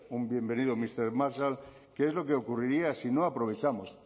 un bienvenido mister marshall que es lo que ocurriría si no aprovechamos